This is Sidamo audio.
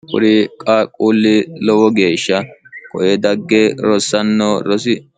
kuri qaaqquulli lowo geeshsha koye dagge rossanno rosi